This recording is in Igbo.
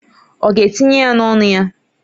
Ọ ga-etinye ya n'ọnụ ya?